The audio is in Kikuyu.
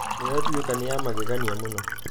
nĩyandũaka nĩa magegania mũno